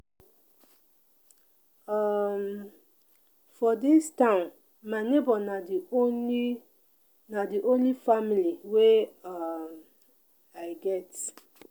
um for dis town my nebor na di only na di only family wey um i get.